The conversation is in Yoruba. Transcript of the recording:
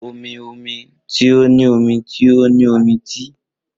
Omi omi ti o ni omi ti o ni omi ti